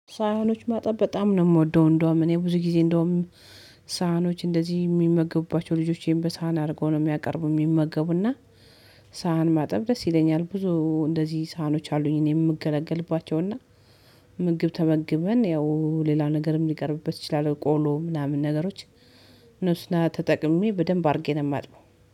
ሳሀኖች ማጠብ በጣም ነው የምወደው። እንደውም እኔ ብዙ ጊዜ እንደውም ሳህኖች እንደዚህ የሚመገቡባቸው ልጆቼን በሳህን አድርጎ ነው የሚያቀርቡ የሚመገቡና። ሳህን ማጠብ ደስ ይለኛል። ብዙ እንደዚህ ሳህኖች አሉኝ እኔ የምገለገልባቸው እና እና ምግብ ተመግበን ያው ሌላ ነገርም ሊቀርብበት ይችላል ቆሎ ምናምን ነገሮች። ነሱን ተጠቅሜ በደንብ አድርጌ ነው የማጥብው